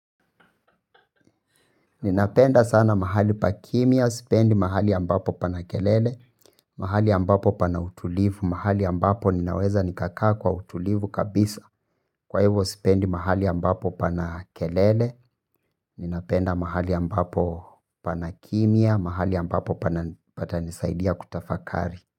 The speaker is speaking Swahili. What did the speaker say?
Ninapenda sana mahali pa kimya, sipendi mahali ambapo pana kelele, mahali ambapo pana utulivu, mahali ambapo ninaweza nikakaa kwa utulivu kabisa. Kwa hivyo sipendi mahali ambapo pana kelele, ninapenda mahali ambapo pana kimya, mahali ambapo patanisaidia kutafakari.